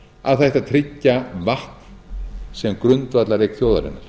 að það ætti að tryggja vatn sem grundvallareign þjóðarinnar